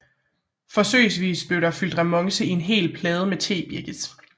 Forsøgsvis blev der fyldt remonce i en hel plade med tebirkes